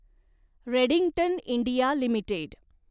Redington India limited